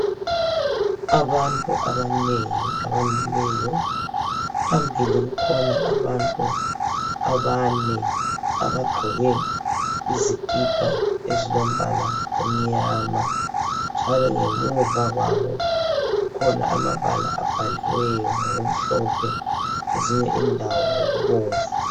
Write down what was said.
Abantu abanengi abamileyo. Phambili kukhona abantu abane abagqoke izikipa ezilombala omnyama njalo ngemuva kwabo kukhona amabala abhaliweyo ngokumhlophe, kwezinye indawo ngokubomvu.